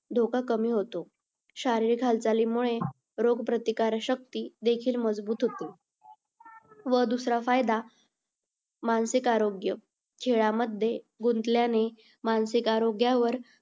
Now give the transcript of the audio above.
धोका कमी होतो. शारीरिक हालचालींमुळे रोगप्रतिकारक शक्ती देखील मजबूत होते . व दूसरा फायदा मानसिक आरोग्य. खेळामध्ये गुंतल्याने मानसिक आरोग्यावर